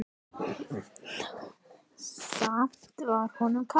Samt var honum kalt.